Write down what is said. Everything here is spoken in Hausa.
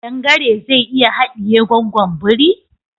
Kadan gare zai iya haɗiye gwaggon biri?